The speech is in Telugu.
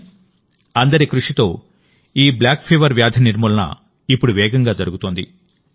కానీ అందరి కృషితో కాలాజార్ వ్యాధి నిర్మూలన ఇప్పుడు వేగంగా జరుగుతోంది